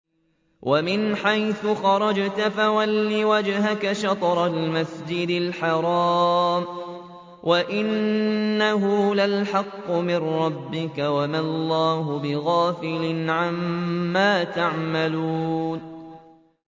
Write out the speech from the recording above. وَمِنْ حَيْثُ خَرَجْتَ فَوَلِّ وَجْهَكَ شَطْرَ الْمَسْجِدِ الْحَرَامِ ۖ وَإِنَّهُ لَلْحَقُّ مِن رَّبِّكَ ۗ وَمَا اللَّهُ بِغَافِلٍ عَمَّا تَعْمَلُونَ